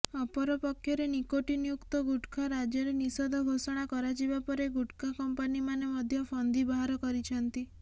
ଅପରପକ୍ଷରେ ନିକୋଟିନ୍ଯୁକ୍ତ ଗୁଟ୍ଖା ରାଜ୍ୟରେ ନିଷେଧ ଘୋଷଣା କରାଯିବା ପରେ ଗୁଟ୍ଖା କମ୍ପାନିମାନେ ମଧ୍ୟ ଫନ୍ଦି ବାହାର କରିଛନ୍ତି